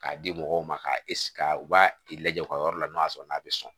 K'a di mɔgɔw ma k'a ka u b'a lajɛ u ka yɔrɔ la n'o y'a sɔrɔ n'a bɛ sɔn